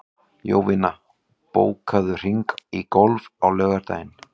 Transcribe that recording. Jovina, bókaðu hring í golf á laugardaginn.